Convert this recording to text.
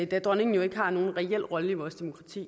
da dronningen jo ikke har nogen reel rolle i vores demokrati